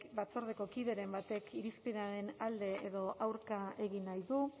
batzordeko kideren batek irizpenaren alde edo aurka egin nahi du